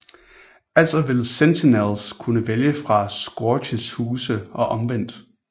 Altså vil Sentinels kunne vælge fra Scourges huse og omvendt